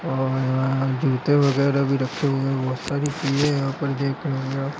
और अ जूते वगैरह भी रखे हुए है बोहोत सारी चीज़े यहाँ पे देख रहें हैं आप ।